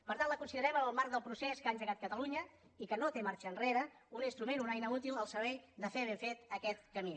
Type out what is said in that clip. per tant la considerem en el marc del procés que ha engegat catalunya i que no té marxa enrere un instrument una eina útil al servei de fer ben fet aquest camí